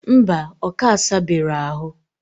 Mba, oka asabe ro ahu.